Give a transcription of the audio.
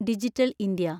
digital India